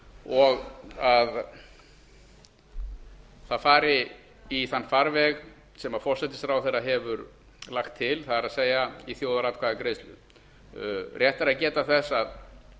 og það fari í þann farveg sem forsætisráðherra hefur lagt til það er í þjóðaratkvæðagreiðslu rétt er að geta þess að